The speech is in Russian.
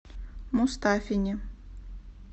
мустафине